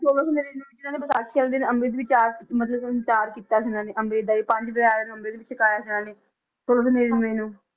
ਛੋਲਾਂ ਸੌ ਨੜ੍ਹਿਨਵੇਂ ਵਿੱਚ ਇਹਨਾਂ ਨੇ ਵਿਸਾਖੀ ਵਾਲੇ ਦਿਨ ਅੰਮ੍ਰਿਤ ਵੀ ਤਿਆਰ ਮਤਲਬ ਤਿਆਰ ਕੀਤਾ ਸੀ ਇਹਨਾਂ ਨੇ ਅੰਮ੍ਰਿਤ ਦਾ ਹੀ ਪੰਜ ਪਿਆਰਿਆਂ ਨੂੰ ਅੰਮ੍ਰਿਤ ਵੀ ਛਕਾਇਆ ਸੀ ਇਹਨਾਂ ਨੇ,